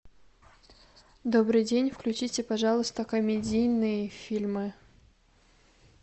добрый день включите пожалуйста комедийные фильмы